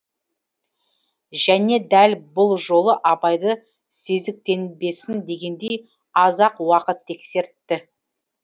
және дәл бұл жолы абайды сезіктенбесін дегендей аз ақ уақыт тексертті